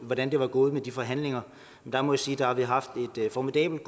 hvordan det var gået med de forhandlinger jeg må sige at vi haft et formidabelt